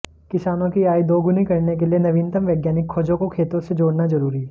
किसानों की आय दोगुनी करने के लिए नवीनतम वैज्ञानिक खोजों को खेतों से जोड़ना जरूरी